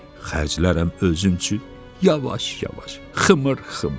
Xərclərəm özüm üçün yavaş-yavaş, xımır-xımır.